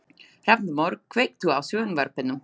Hrafnborg, kveiktu á sjónvarpinu.